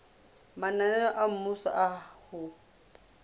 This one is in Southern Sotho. mananeo a mmuso a ho